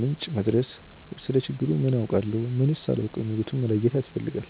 ምንጭ መድረስ፣ ስለ ችግሩ ምን አውቃለሁ? ምንስ አላውቅም? የሚሉትን መለየት ያስፈልጋል።